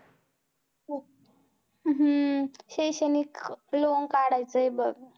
हम्म शैक्षणिक loan काढायचं आहे बघ